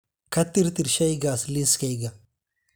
ka tirtir shaygaas liiskayga